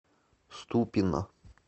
ступино